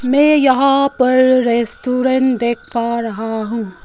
मैं यहा पर रेस्टोरेंट देख पा रहा हूँ।